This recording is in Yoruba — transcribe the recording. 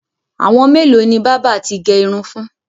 Àwọn mélòó ni bábà ti gẹ irun fún?